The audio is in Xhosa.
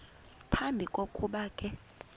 phambi kokuba ke